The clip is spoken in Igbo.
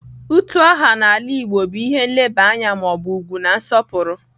Utu aha n'ala igbo bu ihe nleba anya ma obu ugwu na nsopuru.